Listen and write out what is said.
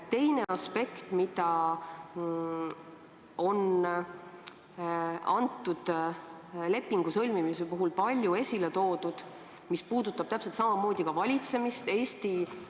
Teine aspekt, mida selle lepingu sõlmimise puhul on palju esile toodud ja mis puudutab täpselt samamoodi ka valitsemist, on järgmine.